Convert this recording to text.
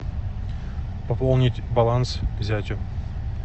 пополнить баланс зятю